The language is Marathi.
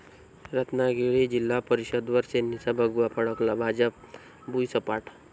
रत्नागिरी जि.प.वर सेनेचा भगवा फडकला, भाजप भुईसपाट